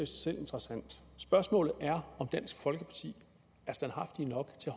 selv interessant spørgsmålet er om dansk folkeparti er standhaftige nok til